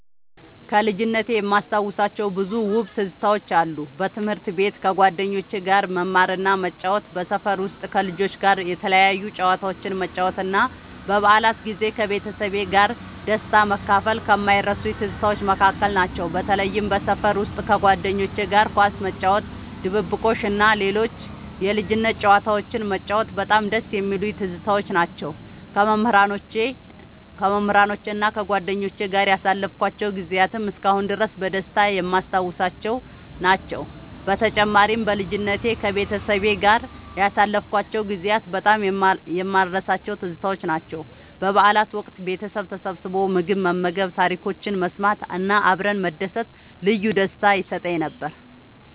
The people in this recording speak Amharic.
ከልጅነቴ የማስታውሳቸው ብዙ ውብ ትዝታዎች አሉ። በትምህርት ቤት ከጓደኞቼ ጋር መማርና መጫወት፣ በሰፈር ውስጥ ከልጆች ጋር የተለያዩ ጨዋታዎችን መጫወት እና በበዓላት ጊዜ ከቤተሰቤ ጋር ደስታን መካፈል ከማይረሱኝ ትዝታዎች መካከል ናቸው። በተለይም በሰፈር ውስጥ ከጓደኞቼ ጋር ኳስ መጫወት፣ ድብብቆሽ እና ሌሎች የልጅነት ጨዋታዎችን መጫወት በጣም ደስ የሚሉኝ ትዝታዎች ናቸው። ከመምህራኖቼና ከጓደኞቼ ጋር ያሳለፍኳቸው ጊዜያትም እስካሁን ድረስ በደስታ የማስታውሳቸው ናቸው። በተጨማሪም፣ በልጅነቴ ከቤተሰቤ ጋር ያሳለፍኳቸው ጊዜያት በጣም የማልረሳቸው ትዝታዎች ናቸው። በበዓላት ወቅት ቤተሰብ ተሰብስቦ ምግብ መመገብ፣ ታሪኮችን መሰማት እና አብረን መደሰት ልዩ ደስታ ይሰጠኝ ነበር።